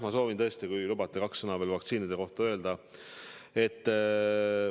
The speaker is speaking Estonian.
Ma soovin tõesti, kui lubate, kaks sõna veel vaktsiinide kohta öelda.